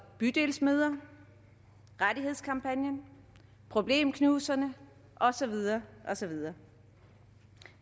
bydelsmøder rettighedskampagnen problemknuserne og så videre og så videre